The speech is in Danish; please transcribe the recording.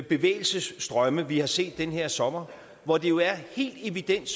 bevægelsesstrømme vi har set den her sommer hvor det jo helt evident